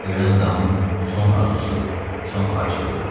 Ölən adamın son arzusu, son xahişi budur.